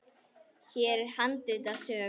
Hér er handrit að sögu.